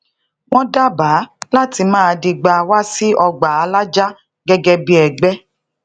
wón dábàá lati maa digba wa si ogba alájá gege bí ẹgbẹ